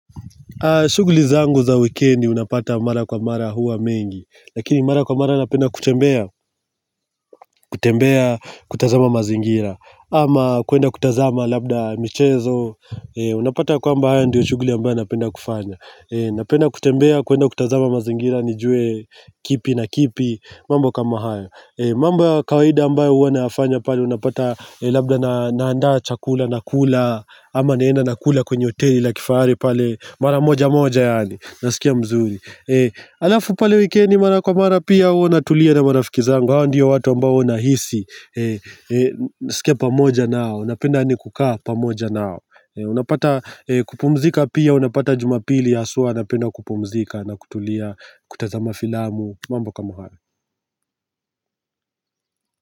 Shughuli zangu za wikendi unapata mara kwa mara huwa mengi Lakini mara kwa mara napenda kutembea kutembea kutazama mazingira ama kuenda kutazama labda michezo Unapata ya kwamba haya ndiyo shughuli ambayo napenda kufanya Napenda kutembea kuenda kutazama mazingira nijue kipi na kipi mambo kama haya mambo ya kawaida ambayo huwa nayafanya pale Unapata labda naanda chakula nakula ama naenda nakula kwenye hoteli la kifari pale Mara moja moja yaani na sikia mzuri Alafu pale wikendi mara kwa mara pia hua natulia na marafiki zangu Hawa ndio watu ambao nahisi sikia pamoja nao napenda yaani kukaa pamoja nao Unapata kupumzika pia Unapata jumapili haswa napenda kupumzika na kutulia kutazama filamu mambo kama haya.